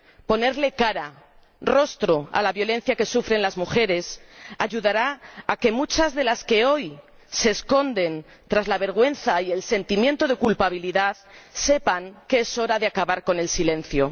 Ponerle cara, rostro, a la violencia que sufren las mujeres ayudará a que muchas de las que hoy se esconden tras la vergüenza y el sentimiento de culpabilidad sepan que es hora de acabar con el silencio.